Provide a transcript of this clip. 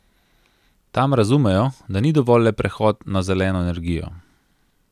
Tam razumejo, da ni dovolj le prehod na zeleno energijo.